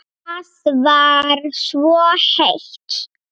Það var svo heitt.